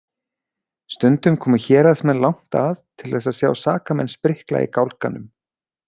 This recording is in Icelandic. Stundum komu héraðsmenn langt að til þess að sjá sakamenn sprikla í gálganum.